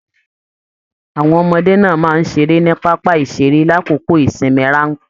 Àwọn ọmọdé náà máa n ṣeré ni pápá iṣere l'akoko ìsinmi ranpẹ̀